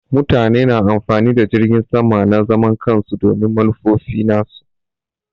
Mutane na amfani da jiragin sama na zaman kansu domin manufofi nasu.